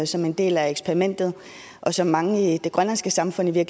som en del af eksperimentet og som mange i det grønlandske samfund i